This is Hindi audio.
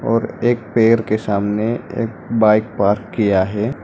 और एक पेर के सामने एक बाइक पार्क किया है।